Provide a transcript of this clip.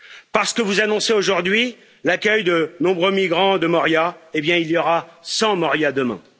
Parce que vous annoncez aujourd'hui l'accueil de nombreux migrants de Moria, il y aura 100 Moria demain.